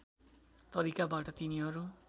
तरिकाबाट तिनीहरू